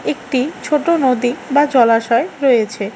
একটি ছোটো নদী বা জলাশয় রয়েছে।